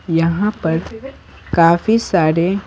यहां पर काफी सारे।